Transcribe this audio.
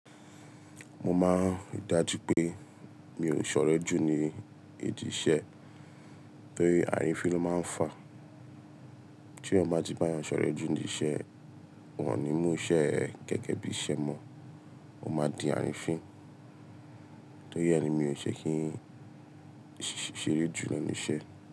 Mo máa ń dájú pé mi ò ṣọ̀rẹ́ jù ní ìdí iṣẹ́ torí àrífín ló máa ń fà. Tí ẹ bá ti bá yàn ṣọ̀rẹ́ jù nídi iṣẹ́, wọ́n ò ní mú ise ẹ gẹ̀gẹ́ bí iṣẹ́ mọ́. O máa di àrífín. Torí ẹ ni mi ò ṣe kí n ṣeré jù lenu iṣẹ́.